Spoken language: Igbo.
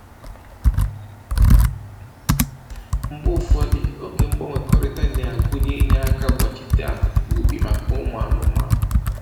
Mgbe ụfọdụ, oge mgbanwekọrịta na-agụnye inye aka gbachite akụkụ ubi maka ụmụ anụmanụ